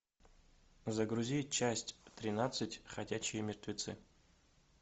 загрузи часть тринадцать ходячие мертвецы